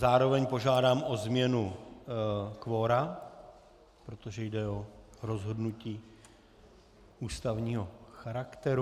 Zároveň požádám o změnu kvora, protože jde o rozhodnutí ústavního charakteru.